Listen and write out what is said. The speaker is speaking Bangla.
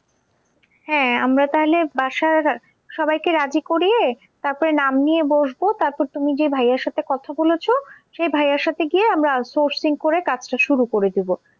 হ্যাঁ আমরা তাহলে বাসার সবাইকে রাজি করিয়ে তারপরে নাম নিয়ে বসবো তারপর তুমি যে ভাইয়ার সাথে কথা বলেছো সে ভাইয়ার সাথে গিয়ে আমরা sourcing করে কাজটা শুরু করে দেব।